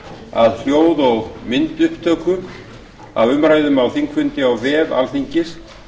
að hljóð og myndupptökum af umræðum á þingfundi á vef alþingis